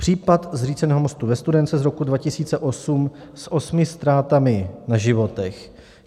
Případ zříceného mostu ve Studénce z roku 2008, s osmi ztrátami na životech.